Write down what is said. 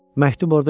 Məktub orda yox idi.